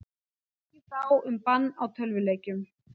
Tekist á um bann á tölvuleikjum